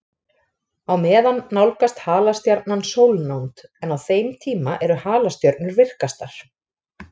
Á meðan nálgast halastjarnan sólnánd, en á þeim tíma eru halastjörnur virkastar.